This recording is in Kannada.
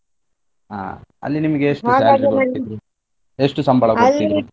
ಹಾ ಅಲ್ಲಿ ನಿಮ್ಗೆ ಎಷ್ಟು ಎಷ್ಟು ಸಂಬಳ .